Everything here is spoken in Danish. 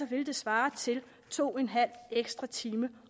ville det svare til to en halv ekstra time